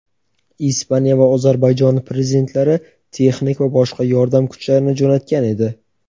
Ispaniya va Ozarbayjon Prezidentlari texnik va boshqa yordam kuchlarini jo‘natgan edi.